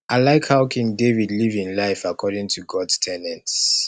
i like how king david live im life according to gods ten ets